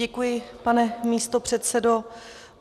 Děkuji, pane místopředsedo.